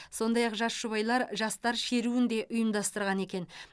сондай ақ жас жұбайлар жастар шеруін де ұйымдастырған екен